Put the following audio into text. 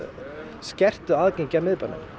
skertu aðgengi að miðbænum